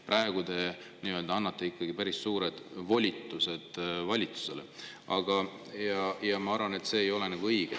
Praegu te annate ikkagi päris suured volitused valitsusele, aga mina arvan, et see ei ole õige.